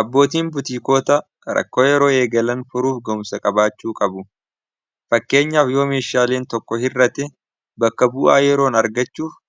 abbootiin butiikoota rakkoo yeroo eegalan furuuf goomsa qabaachuu qabu fakkeenyaaf yoo meeshaaliin tokko hirratti bakka bu'aa yeroon argachuuf